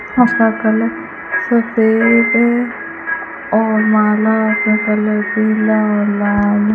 हंस का कलर सफेद है और माला का कलर पीला और लाल --